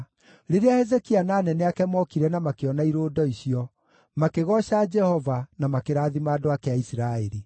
Rĩrĩa Hezekia na anene ake mookire na makĩona irũndo icio, makĩgooca Jehova na makĩrathima andũ ake a Isiraeli.